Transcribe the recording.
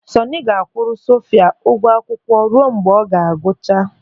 Sọọnị ga-akwụrụ Sofia ụgwọ akwụkwọ ruo mgbe ọ ga-agụcha.